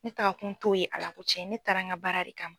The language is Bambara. Ne takakun t'o ye Ala ko cɛn ne taara n ka baara de kama.